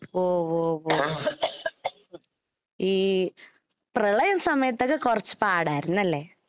ഓ, ഈ പ്രളയ സമയത്തൊക്കെ കൊറച്ചു പാടായിരുന്നു. അല്ലേ.